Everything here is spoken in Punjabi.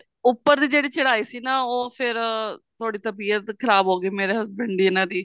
ਉੱਪਰ ਦੀ ਜਿਹੜੀ ਚੜਾਈ ਸੀ ਨਾ ਉਹ ਫੇਰ ਥੋੜੀ ਤਬੀਅਤ ਖਰਾਬ ਹੋਗੀ ਮੇਰੇ husband ਦੀ ਇਹਨਾ ਦੀ